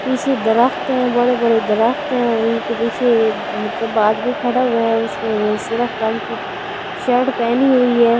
पीछे दरख्त हैं बड़े-बड़े दरख्त हैं और इनके पीछे मतलब आदमी खड़ा हुआ है उसने सुरख रंग की शर्ट पहनी हुई है।